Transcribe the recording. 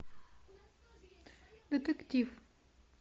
детектив